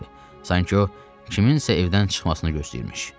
Sanki o, kimsənin evdən çıxmasını gözləyirmiş.